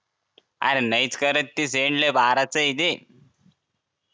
अरे नाही करत ती send लई बाराच ये ते